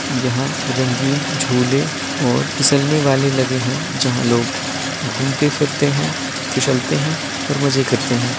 यहाँ रंगीन झूले और फिसलने वाले लगे हैं जहाँ लोग घूमते-फिरते हैं फिसलते हैं और मजे करते हैं।